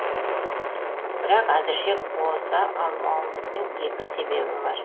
бірақ әзірше қоса алмауымыздың екі себебі бар